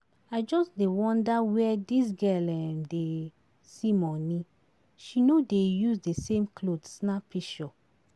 I just dey wonder where dis girl um dey see money, she no dey use the same cloth snap pishure